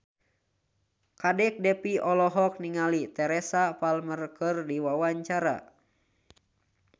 Kadek Devi olohok ningali Teresa Palmer keur diwawancara